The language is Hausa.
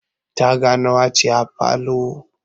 Taga nawa ce a falon?